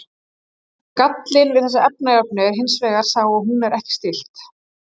gallinn við þessa efnajöfnu er hins vegar sá að hún er ekki stillt